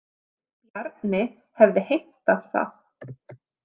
Bjarni hafði heimtað það.